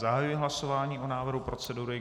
Zahajuji hlasování o návrhu procedury.